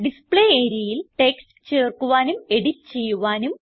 display areaയിൽ text ചേർക്കുവാനും edit ചെയ്യുവാനും